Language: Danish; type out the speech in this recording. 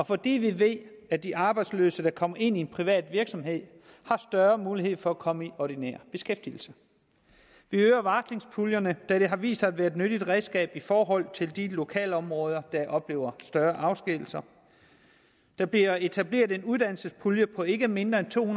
fordi vi ved at de arbejdsløse der kommer ind i en privat virksomhed har større mulighed for at komme i ordinær beskæftigelse vi øger varslingspuljerne da det har vist sig at være et nyttigt redskab i forhold til de lokalområder der oplever større afskedigelser der bliver etableret en uddannelsespulje på ikke mindre end to